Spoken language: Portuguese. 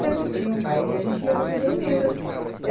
Sempre tinha um baile e a gente ia para Pederneiras.